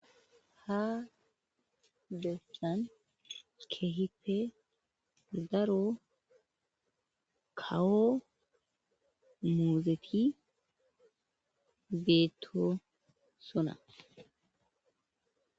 Ha dessan kehite daro kawo muzeti beetto sona